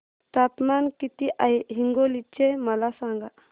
तापमान किती आहे हिंगोली चे मला सांगा